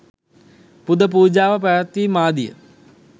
පුද පූජාව පැවැත්වීම් ආදිය